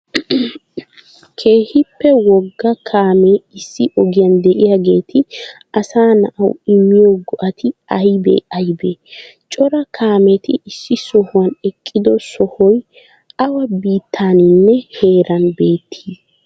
keehippe wogga kaammee issi ogiyan de'iyaageti asaa naa'awu immiyo go'ati aybee aybee? Cora kaammeti issi sohuwan eqqido sohoy awa biitaninne heeran beetti?